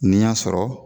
N'i y'a sɔrɔ